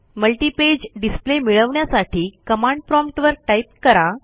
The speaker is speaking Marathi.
मल्टिपेज डिस्प्ले मिळवण्यासाठी कमांड प्रॉम्प्ट वर टाईप करा